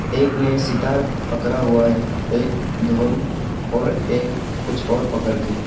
एक ने सितार पकरा हुआ है एक ढोल और एक कुछ ओर पकर के है।